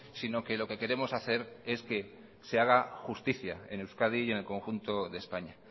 sino que lo que queremos hacer es que se haga justicia en euskadi y en el conjunto de españa